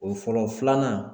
O fɔlɔ filanan